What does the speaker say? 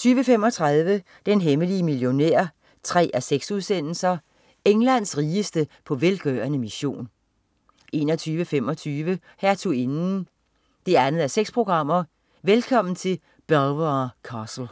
20.35 Den hemmelige millionær 3:6. Englands rigeste på velgørende mission 21.25 Hertuginden 2:6. velkommen til Belvoir Castle